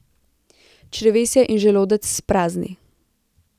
Črevesje in želodec sprazni.